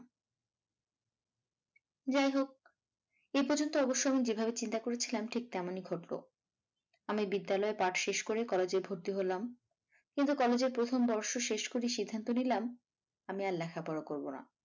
যাহোক এই পর্যন্ত অবশ্য আমি যেভাবে চিন্তা করেছিলাম ঠিক তেমনই ঘটল আমি বিদ্যালয়ের পাঠ শেষ করে college এ ভর্তি হলাম কিন্তু college এর প্রথম বর্ষ শেষ করেই সিদ্ধান্ত নিলাম আমি আর লেখাপড়া করবো না।